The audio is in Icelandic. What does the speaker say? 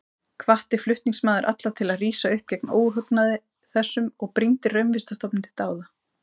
Hvatti flutningsmaður alla til að rísa upp gegn óhugnaði þessum og brýndi Raunvísindastofnun til dáða.